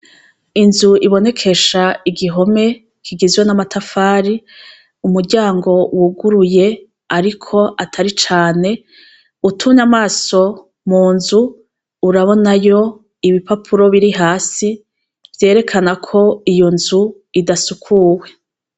Inzu ibonekesha igihome kigizwe n'amatafari umuryango wuguruye, ariko atari cane utumye amaso mu nzu urabonayo ibipapuro biri hasi vyerekana ko iyo nzu idasukuwe.